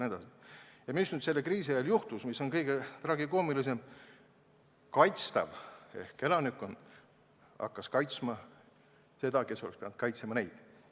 Nüüd kriisi ajal juhtus aga nii – ja see on kõige tragikoomilisem –, et kaitstav ehk elanikkond hakkas kaitsma seda, kes oleks pidanud kaitsma teda.